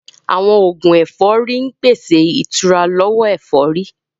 Àwọn oògùn ẹ̀fọ́rí ń pèsè ìtura lọ́wọ́ ẹ̀fọ́rí